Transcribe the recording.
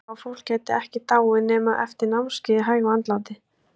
Álíka og fólk gæti ekki dáið nema eftir námskeið í hægu andláti!